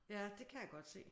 Ja det kan jeg godt se